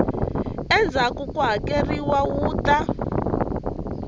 endzhaku ku hakeleriwa wu ta